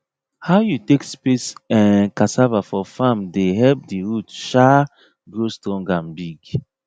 how you take space um cassava for farm dey help the root um grow strong and big